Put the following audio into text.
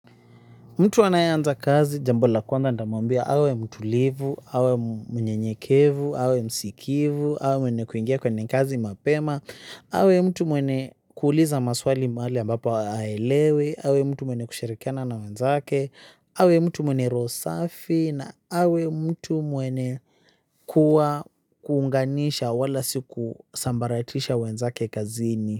Mtu anayeanza kazi jambo la kwanza nitamwambia awe mtulivu, awe mnyenyekevu, awe msikivu, awe mwenye kuingia kwenye kazi mapema, awe mtu mwene kuuliza maswali mwale ambapo haelewi, awe mtu mwene kusharikiana na wenzake, awe mtu mwenye roho safi na awe mtu mwene kuwa kuunganisha wala siku sambaratisha wenzake kazini.